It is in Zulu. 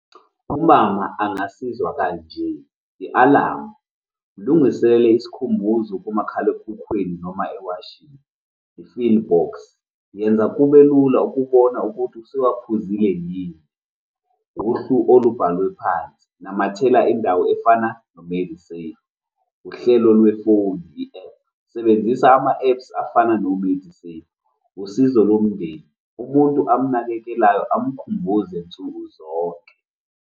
Umama angasizwa kanje, i-alamu, mlungisele isikhumbuzo kumakhalekhukhwini noma ewashini. I-pill box, yenza kube lula ukubona ukuthi usuwaphuzile yini. Uhlu olubhalwe phansi, namathela indawo efana . Uhlelo lwefoni, i-app, sebenzisa ama-apps afana no-medicine. Usizo lomndeni, umuntu amnakekelayo amkhumbuze nsuku zonke.